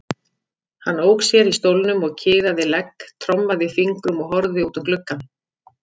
Hann ók sér í stólnum og kiðaði legg, trommaði fingrum og horfði út um gluggann.